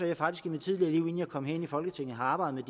jeg faktisk i mit tidligere liv inden jeg kom herind i folketinget har arbejdet